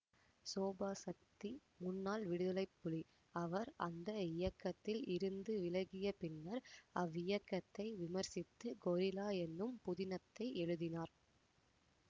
சோபாசக்தி முன்னாள் விடுதலைப்புலி அவர் அந்த இயக்கத்தில் இருந்து விலகிய பின்னர் அவ்வியக்கத்தை விமர்சித்து கொரில்லா என்னும் புதினத்தை எழுதினார்